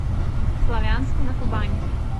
славянску на кубани